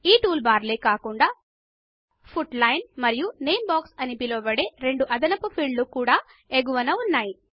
ఈ టూల్బార్లే కాకుండా పుట్ లైన్ మరియు నేమ్ బాక్స్ అని పిలవబడే రెండు అదనపు ఫీల్డ్ లు ఎగువన ఉన్నాయి